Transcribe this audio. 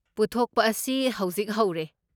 ꯄꯨꯊꯣꯛꯄ ꯑꯁꯤ ꯍꯧꯖꯤꯛ ꯍꯧꯔꯦ꯫